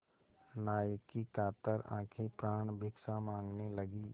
नायक की कातर आँखें प्राणभिक्षा माँगने लगीं